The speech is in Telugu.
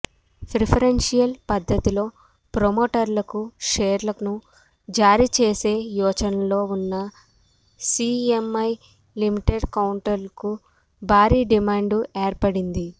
ప్రిఫరెన్షియల్ పద్ధతిలో ప్రమోటర్లకు షేర్లను జారీ చేసే యోచనలో ఉన్న సీఎంఐ లిమిటెడ్ కౌంటర్కు భారీ డిమాండ్ ఏర్పడింది